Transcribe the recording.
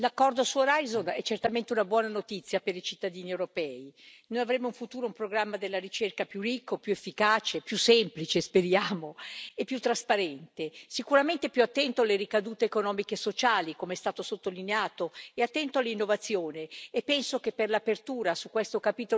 Noi avremo in futuro un programma della ricerca più ricco, più efficace e più semplice, speriamo, e più trasparente. Sicuramente più attento alle ricadute economiche e sociali, come è stato sottolineato, e attento all'innovazione, e penso che per l'apertura su questo capitolo dell'innovazione bisogna dare sicuramente un merito al Commissario Moedas.